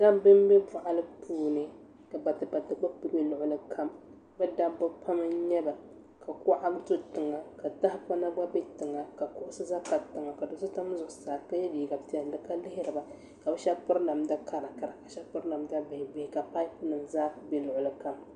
Dabba n bɛ boɣali puuni ka batibati gba ku bɛ luɣuli kam bi dabba pam n nyɛba ka kuɣa do tiŋa ka tahapona gba do tiŋa ka kuɣusi za n tabi taba ka do so ʒɛ zuɣusaa ka yɛ liiga piɛlli ka lihiriba ka bi shab piri namda karakara ka bi shab piri namda bihi ka paipu nim zaa ku bɛ luɣuli kam